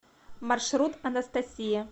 маршрут анастасия